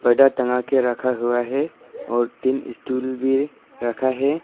टंगा के रखा हुआ है और तीन स्टूल भी रखा है।